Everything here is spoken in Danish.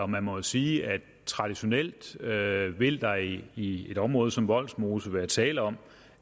man må jo sige at traditionelt vil der i i et område som vollsmose være tale om